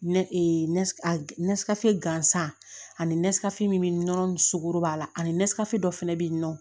Ne e nesikafe gansan ani min nɔn sugɔro b'a la ani dɔ fana bɛ yen nɔ